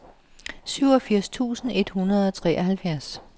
syvogfirs tusind et hundrede og treoghalvfjerds